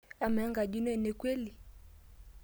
Amaa, enkaji ino ena kweli?